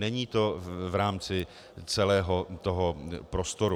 Není to v rámci celého toho prostoru.